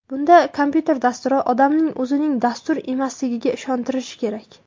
Bunda kompyuter dasturi odamni o‘zining dastur emasligiga ishontirishi kerak.